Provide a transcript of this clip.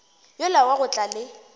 yola wa go tla le